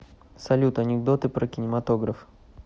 салют анекдоты про кинематограф